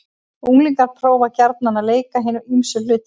Unglingar prófa gjarnan að leika hin ýmsu hlutverk.